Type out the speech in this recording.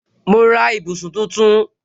Mo ra ibùsùn tuntun